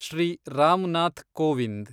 Shri Ram Nath Kovind